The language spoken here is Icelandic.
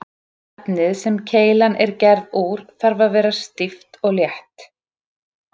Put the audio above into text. Efnið sem keilan er gerð úr þarf að vera stíft og létt.